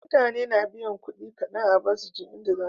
Mutane na biyan kudi kadan a bus suje inda zasuje